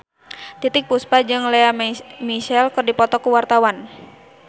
Titiek Puspa jeung Lea Michele keur dipoto ku wartawan